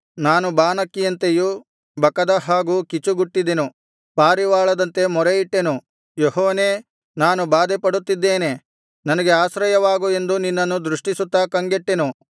ನಾನು ಬಾನಕ್ಕಿಯಂತೆಯೂ ಬಕದ ಹಾಗೂ ಕೀಚುಗುಟ್ಟಿದೆನು ಪಾರಿವಾಳದಂತೆ ಮೊರೆಯಿಟ್ಟೆನು ಯೆಹೋವನೇ ನಾನು ಬಾಧೆಪಡುತ್ತಿದ್ದೇನೆ ನನಗೆ ಆಶ್ರಯವಾಗು ಎಂದು ನಿನ್ನನು ದೃಷ್ಟಿಸುತ್ತಾ ಕಂಗೆಟ್ಟೆನು